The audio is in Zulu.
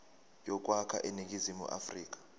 yokwakha iningizimu afrika